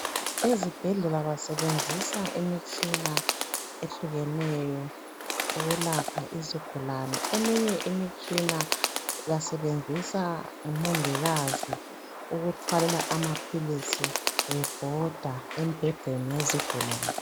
Ezibhedlela basebenzisa imitshina ehlukeneyo ukulapha izigulane eminye imitshina basebenzisa ngomongikazi ukuthwalela amaphilisi bebhoda embhedeni yezigulani.